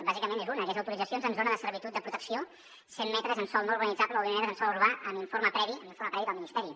bàsicament és una que és autoritzacions en zona de servitud de protecció cent metres en sòl no urbanitzable o vint metres en sòl urbà amb informe previ del ministeri